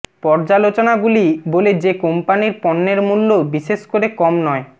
পর্যালোচনাগুলি বলে যে কোম্পানির পণ্যের মূল্য বিশেষ করে কম নয়